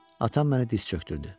Atam məni diz çökdürdü.